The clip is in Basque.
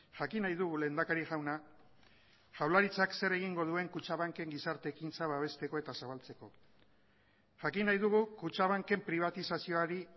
jakin nahi dugu lehendakari jauna jaurlaritzak zer egingo duen kutxabanken gizarte ekintza babesteko eta zabaltzeko jakin nahi dugu kutxabanken pribatizazioari